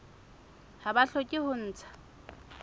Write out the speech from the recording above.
ha ba hloke ho ntsha